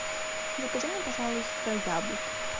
закажи мне пожалуйста яблок